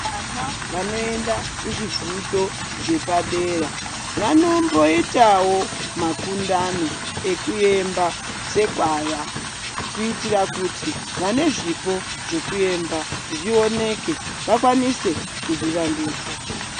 Vana vanoenda kuzvivhundo zvepadera, vanomboitawo makundano ekuemba sekwaya, kuitira kuti vane zvipo zvekuemba zvioneke, vakwanise kuzvivandudza.